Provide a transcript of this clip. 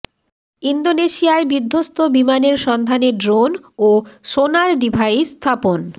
ইন্দোনেশিয়ায় বিধ্বস্ত বিমানের সন্ধানে ড্রোন ও সোনার ডিভাইস স্থাপন